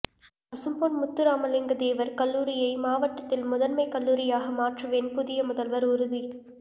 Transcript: பசும்பொன் முத்துராமலிங்கதேவர் கல்லூரியை மாவட்டத்தில் முதன்மை கல்லூரியாக மாற்றுவேன் புதிய முதல்வர் உறுதி